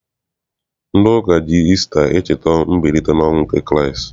Ndị ụka ji Isita echeta mbilite n'ọnwụ nke Kraịst.